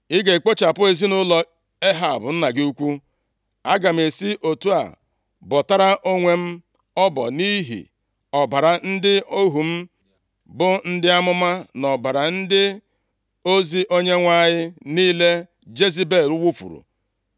Ị ga-ekpochapụ ezinaụlọ Ehab, nna gị ukwu, aga m esi otu a bọtara onwe m ọbọ, nʼihi ọbara ndị ohu m, bụ ndị amụma na ọbara ndị ozi Onyenwe anyị niile Jezebel wufuru.